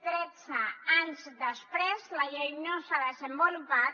tretze anys després la llei no s’ha desenvolupat